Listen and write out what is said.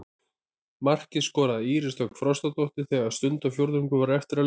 Markið skoraði Íris Dögg Frostadóttir þegar stundarfjórðungur var eftir af leiknum.